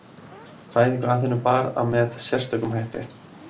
Fæðingu Aþenu bar að með sérstökum hætti.